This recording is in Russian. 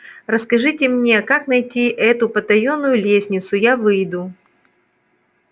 расскажите мне как найти эту потаённую лестницу я выйду